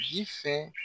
Ji fɛ